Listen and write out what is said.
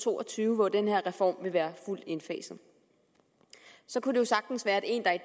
to og tyve hvor den her reform vil være fuldt indfaset kunne det sagtens være at en der